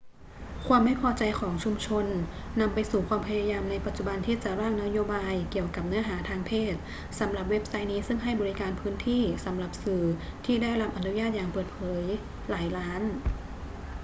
ความไม่พอใจของชุมชนนำไปสู่ความพยายามในปัจจุบันที่จะร่างนโยบายเกี่ยวกับเนื้อหาทางเพศสำหรับเว็บไซต์นี้ซึ่งให้บริการพื้นที่สำหรับสื่อที่ได้รับอนุญาตอย่างเปิดเผยหลายล้าน